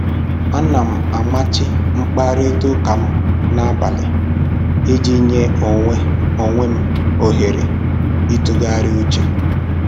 Ana m amachi mkparịta ụka m n'abalị iji nye onwe onwe m ohere ịtụgharị uche